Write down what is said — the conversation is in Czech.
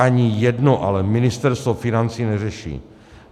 Ani jedno ale Ministerstvo financí neřeší.